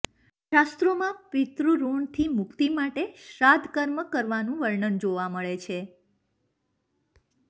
શાસ્ત્રોમાં પિતૃ ઋણથી મુક્તિ માટે શ્રાદ્ધ કર્મ કરવાનું વર્ણન જોવા મળે છે